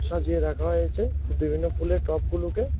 সাজিয়ে রাখা হয়েছে বিভিন্ন ফুলের টবগুলোকে।